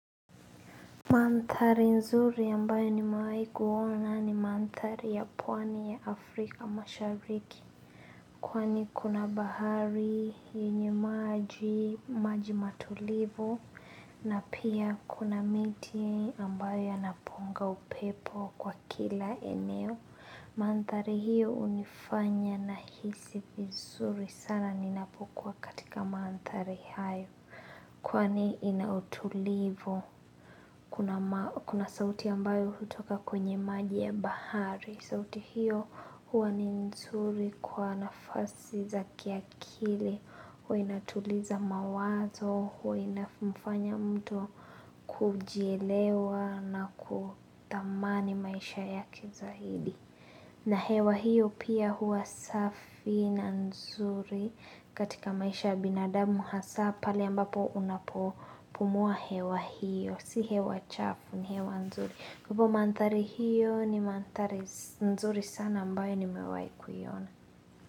Mantari nzuri ambayo nimewai kuona ni mantari ya pwani ya Afrika mashariki Kwani kuna bahari yinyo maji matulivu na pia kuna miti ambayo yanaponga upepo kwa kila eneo Mantari hiyo hunifanya na hisi vizuri sana ninapukua katika mantari hayo Kwani inautulivu kuna sauti ambayo hutoka kwenye maji ya bahari. Sauti hiyo huwa ni nzuri kwa nafasi za kiakili. Huwa inatuliza mawazo, huwa inafumfanya mtu kujielewa na kutamani maisha ya kizahidi. Na hewa hiyo pia huwa safi na nzuri katika maisha ya binadamu hasa pale ambapo unapo pumua hewa hiyo. Si hewa chafu ni hewa nzuri. Kupo mantari hiyo ni mantari nzuri sana ambayo nimewai kuyona.